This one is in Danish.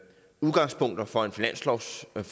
for at man